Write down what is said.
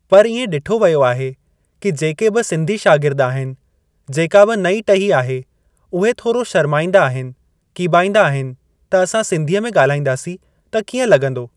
पर इएं ॾिठो वियो आहे की जेके बि सिंधी शार्गिद आहिनि जेका बि नईं टही आहे उहे थोरो शर्माईंदा आहिनि कीॿाइंदा आहिनि त असां सिंधीअ में ॻाल्हाईंदासीं त किअं लॻंदो।